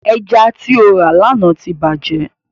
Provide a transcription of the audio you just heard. Ẹja ti o rà lána ti bàjẹ́.